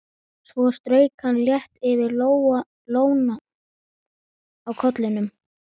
Svo strauk hann létt yfir lóna á kollinum.